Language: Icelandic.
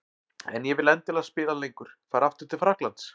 En ég vil endilega spila lengur. Fara aftur til Frakklands?